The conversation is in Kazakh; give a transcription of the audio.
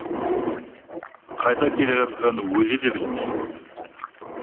қайда келе жатқанын өзі де білмейді